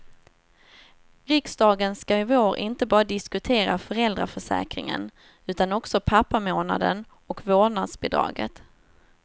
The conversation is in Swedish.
Riksdagen ska i vår inte bara diskutera föräldraförsäkringen, utan också pappamånaden och vårdnadsbidraget.